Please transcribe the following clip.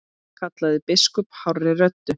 kallaði biskup hárri röddu.